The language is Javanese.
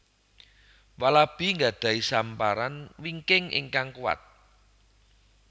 Walabi nggadhahi samparan wingking ingkang kuwat